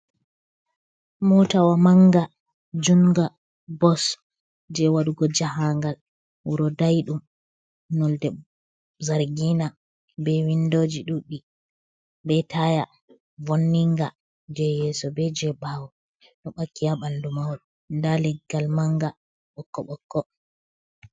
Motawa manga junga bos je waɗugo jahangal wuro dayiɗum nolde zargina, be windoji ɗuɗɗi be taya vonniga je yeso be je ɓawo dubakiya ɓandu mahol nda leggal manga ɓokko ɓokko.